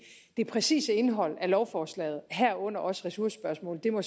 det præcise indehold af lovforslaget herunder også ressourcespørgsmålet må